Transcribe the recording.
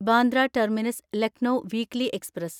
Bandra terminus Lucknow weekly express